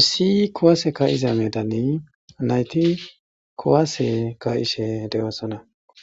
issi kowaase ka'izaame dani nayti kuwaase ka'ishe de7oosona